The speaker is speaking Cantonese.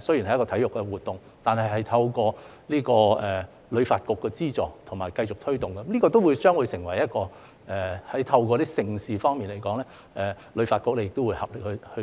雖然是一項體育活動，但透過旅發局資助及繼續推動，將會成為一項盛事，旅發局也會合力去做。